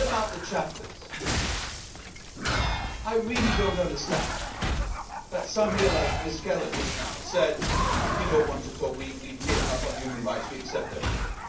away. Then about the chapters. I really do not understand some here, like Ms Keller, who just now said we do not want to talk, we have given up on human rights, we accept everything'.